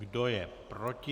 Kdo je proti?